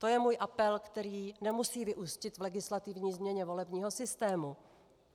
To je můj apel, který nemusí vyústit v legislativní změnu volebního systému.